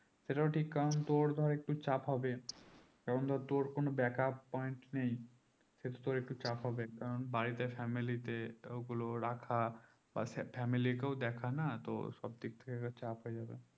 সে টাও ঠিক কারণ তো ভাই একটু চাপ হবে কারণ ধরো তোর কোনো backup point নেই সেই তো তোর একটাই চাপ হবে কারণ বাড়িতে family তে ও গুলো রাখা পাশে family কেও দেখা না তো সব দিক থেকে একটা চাপ হয়ে যাবে